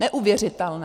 Neuvěřitelné.